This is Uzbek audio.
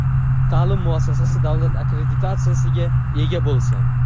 ta’lim muassasasi davlat akkreditatsiyasiga ega bo‘lsin.